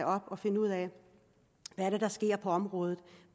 op og finde ud af hvad der sker på området og